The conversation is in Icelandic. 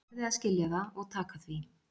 Þið verðið að skilja það og taka því.